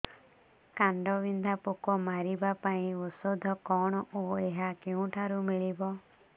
କାଣ୍ଡବିନ୍ଧା ପୋକ ମାରିବା ପାଇଁ ଔଷଧ କଣ ଓ ଏହା କେଉଁଠାରୁ ମିଳିବ